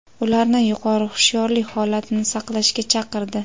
ularni yuqori hushyorlik holatini saqlashga chaqirdi.